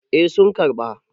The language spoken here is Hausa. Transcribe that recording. eh sun karɓa.